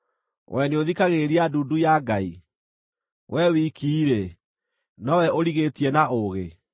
Wee nĩũthikagĩrĩria ndundu ya Ngai? Wee wiki-rĩ, nowe ũrigĩtie na ũũgĩ?